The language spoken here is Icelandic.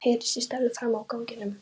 heyrðist í Stellu frammi á ganginum